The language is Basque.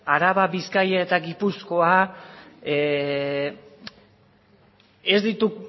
araba bizkaia eta gipuzkoa